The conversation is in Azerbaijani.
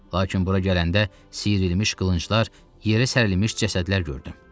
Lakin bura gələndə sıyrılmış qılınclar, yerə sərilmiş cəsədlər gördüm.